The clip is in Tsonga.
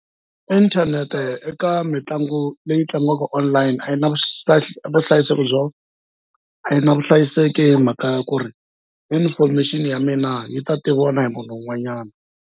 Ithanete eka mitlangu leyi tlangiwaka online a yi na vuhlayiseki byo a yi na vuhlayiseki hi mhaka ya ku ri information ya mina yi ta tiviwa na hi munhu un'wanyana.